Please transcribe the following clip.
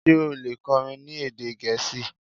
ṣe o le kọrin ni ede Gẹẹsi?